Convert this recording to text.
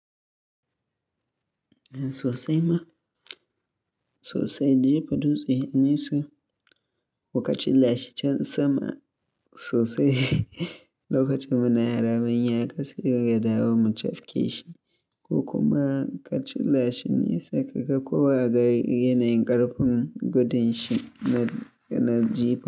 Sosai ma, sosai jefa dutse nesa wa kachilashi can sama sosai, lokacin muna raya muka kasai wa gadawo mu cafke shi ko kuma kachilashi nesa kaga kowa gari yanayin ƙarfin gudun shi na, na jifa.